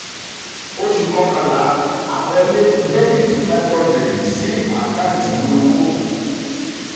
oṣù kọkànlá: aloke dr five hundred sí àkáǹtì ìwé owó um